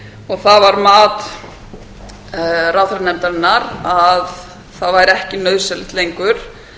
og það var mat ráðherranefndarinnar að það væri ekki nauðsynlegt lengur